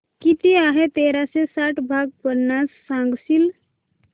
किती आहे तेराशे साठ भाग पन्नास सांगशील